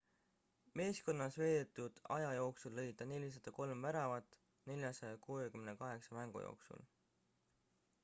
meeskonnas veedetud aja jooksul lõi ta 403 väravat 468 mängu jooksul